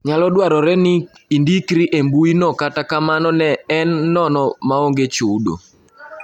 Nyalo dwarore ni indikri e mbui no kata kamano en nono maonge chudo